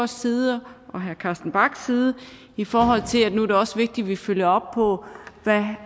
side og herre carsten bachs side i forhold til at det nu også er vigtigt at vi følger op på hvad